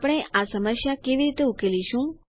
આપણે આ સમસ્યા કેવી રીતે ઉકેલીશું